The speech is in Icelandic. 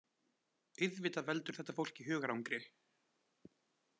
Auðvitað veldur þetta fólki hugarangri